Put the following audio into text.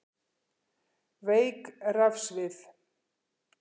Veik rafsvið